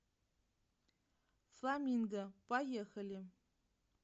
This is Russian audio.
фламинго поехали